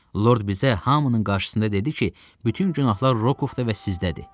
Lord bizə hamının qarşısında dedi ki, bütün günahlar Rokovda və sizdədir.